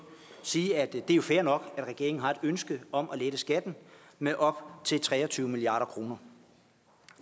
sige at det er fair nok at regeringen har et ønske om at lette skatten med op til tre og tyve milliard kroner